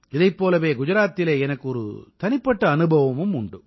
இதைப் போலவே குஜராத்திலே எனக்கு ஒரு தனிப்பட்ட அனுபவமும் உண்டு